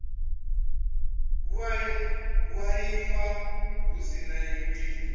vhuaifa hu si na wili